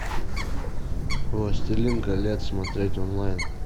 властелин колец смотреть онлайн